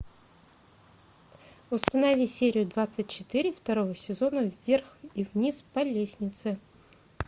установи серию двадцать четыре второго сезона вверх и вниз по лестнице